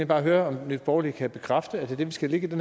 bare høre om nye borgerlige kan bekræfte at det vi skal lægge i det